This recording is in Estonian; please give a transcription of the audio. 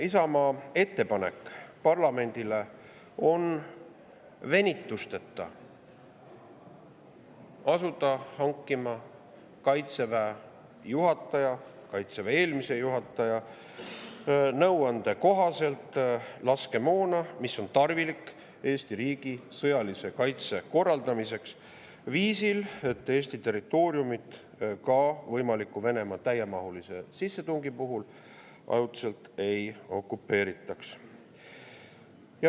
Isamaa ettepanek parlamendile on asuda venitusteta hankima Kaitseväe juhataja ja eelmise juhataja nõuande kohaselt laskemoona, mis on tarvilik Eesti riigi sõjalise kaitse korraldamiseks viisil, et Eesti territooriumit võimaliku Venemaa täiemahulise sissetungi puhul ajutiselt ei okupeeritaks.